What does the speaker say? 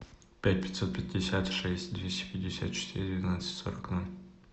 пять пятьсот пятьдесят шесть двести пятьдесят четыре двенадцать сорок ноль